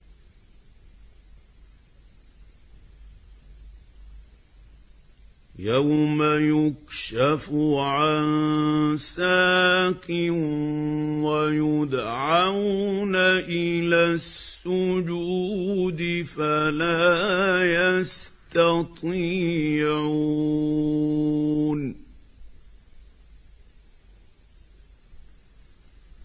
يَوْمَ يُكْشَفُ عَن سَاقٍ وَيُدْعَوْنَ إِلَى السُّجُودِ فَلَا يَسْتَطِيعُونَ